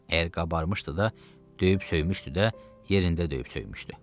Əgər qabarmışdı da, döyüb söymüşdü də, yerində döyüb söymüşdü.